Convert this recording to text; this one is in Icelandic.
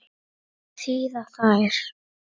Hvað þýða þær?